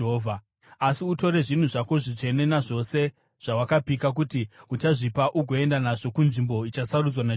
Asi utore zvinhu zvako zvitsvene nazvose zvawakapika kuti uchazvipa, ugoenda nazvo kunzvimbo ichasarudzwa naJehovha.